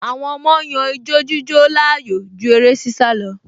Àwọn ọmọ yan ijo-jíjó láàyò ju eré-sísá lọ